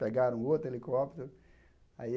Pegaram outro helicóptero aí.